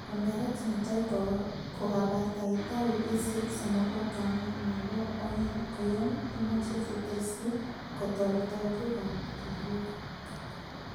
semberet netai kokabataita wikisiek somoku ak angwan. Nebo oeng' koyon imoche sitesyi katoltolikab keliek.